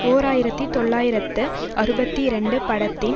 ஓர் ஆயிரத்தி தொள்ளாயிரத்து அறுபத்தி இரண்டு படத்தின்